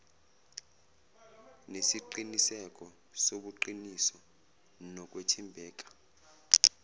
nesiqiniseko sobuqiniso nokwethembeka